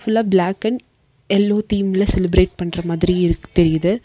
ஃபுல்லா black and yellow தீம்ல celebrate பண்ற மாதிரி தெரியுது.